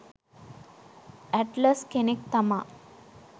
Atlas කෙනෙක් තමා.